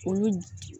Olu